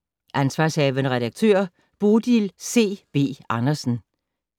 Ansv. redaktør: Bodil C. B. Andersen